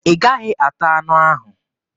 Ị gaghị ata anụ ahụ!